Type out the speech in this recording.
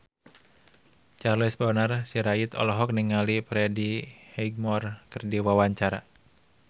Charles Bonar Sirait olohok ningali Freddie Highmore keur diwawancara